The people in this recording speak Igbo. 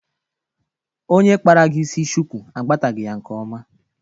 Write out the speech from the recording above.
Onye kpara gị isi shuku agbatagị ya nke oma.